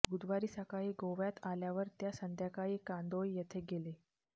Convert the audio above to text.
बुधवारी सकाळी गोव्यात आल्यावर ते संध्याकाळी कांदोळी येथे गेले